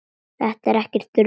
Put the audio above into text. Þetta er ekkert rugl.